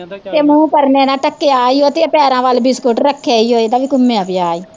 ਤੇ ਮੂਹ ਪਰਨੇ ਨਾਲ਼ ਢੱਕਿਆ ਈ ਓ ਤੇ ਪੈਰਾਂ ਵੱਲ ਬਿਸਕਟ ਰੱਖੇ ਈ ਓ ਤੇ ਘੁਮਿਆ ਪਿਆ ਈ